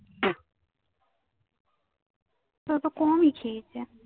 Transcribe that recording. তাতো কমই খেয়েছে।